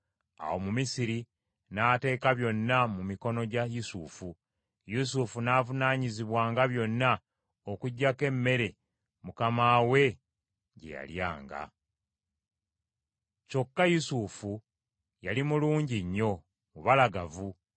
Awo Omumisiri n’ateeka byonna mu mikono gya Yusufu. Yusufu n’avunaanyizibwanga byonna okuggyako emmere mukama we gye yalyanga. Kyokka Yusufu yali mulungi nnyo, mubalagavu.